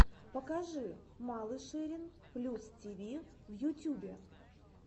покажи малышерин плюс тиви в ютюбе